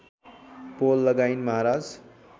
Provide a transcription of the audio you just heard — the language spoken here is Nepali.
पोल लगाइन् महाराज